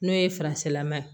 N'o ye laman ye